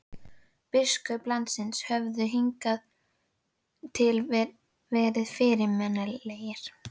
Biskupar landsins höfðu hingað til verið fyrirmannlegir.